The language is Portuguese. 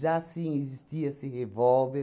sim existia-se revólver.